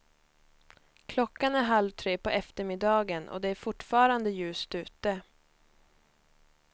Klockan är halv tre på eftermiddagen och det är fortfarande ljust ute.